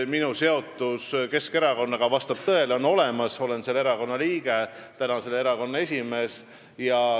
Minu seotus Keskerakonnaga vastab tõele, see on olemas – olen selle erakonna liige, praegu ka selle erakonna esimees.